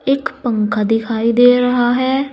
एक पंखा दिखाई दे रहा है।